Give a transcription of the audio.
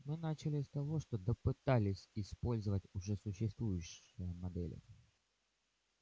мы начали с того что допытались использовать уже существовавшие модели